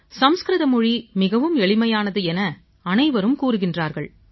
சமஸ்கிருத மொழி மிகவும் எளிமையானது என அனைவரும் கூறுகின்றார்கள்